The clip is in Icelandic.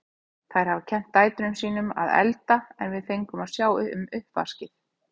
Þær hafa kennt dætrum sín um að elda en við fengum að sjá um uppvaskið.